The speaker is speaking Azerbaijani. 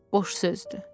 Boş sözdür.